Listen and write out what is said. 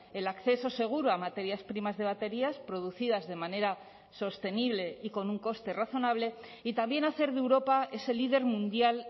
el acceso seguro a materias primas de baterías producidas de manera sostenible y con un coste razonable y también hacer de europa es el líder mundial